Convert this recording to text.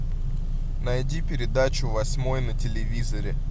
найди передачу восьмой на телевизоре